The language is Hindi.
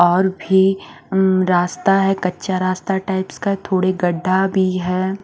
और भी हम्म रास्ता है कच्चा रास्ता टाइप का थोड़े गद्द्दा भी है।